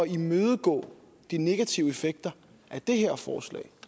imødegå de negative effekter af det her forslag